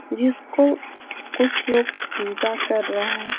जिसको कुछ लोग पूजा कर रहे हैं।